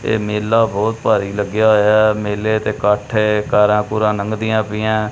ਇਹ ਮੇਲਾ ਬਹੁਤ ਭਾਰੀ ਲੱਗਿਆ ਹੋਇਆ ਐ ਮੇਲੇ ਤੇ ਕੱਠ ਹੈ ਕਾਰਾਂ ਕੂਰਾਂ ਨੰਘਦਿਆਂ ਪਈਐਂ।